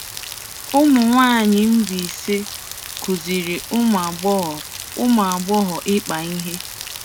Ụmụnwaanyị Mbaise kuziri ụmụ agbọghọ ụmụ agbọghọ ịkpa ihe.